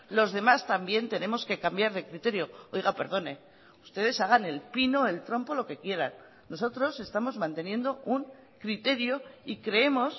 los demás también tenemos que cambiar de criterio oiga perdone ustedes hagan el pino el trompo lo que quieran nosotros estamos manteniendo un criterio y creemos